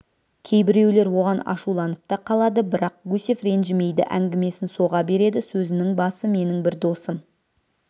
кейбіреулер оған ашуланып та қалады бірақ гусев ренжімейді әңгімесін соға береді сөзінің басы менің бір досым